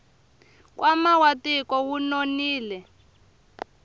nkwama wa tiko wu nonile